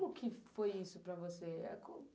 Como que foi isso para você?